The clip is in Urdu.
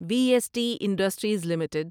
we S T industries limited